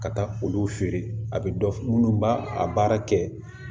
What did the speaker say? Ka taa olu feere a bɛ dɔ minnu b'a baara kɛ